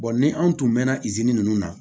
ni anw tun mɛnna ninnu na